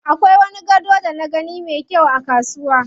Akwai wani gado da na gani me kyau a kasuwa.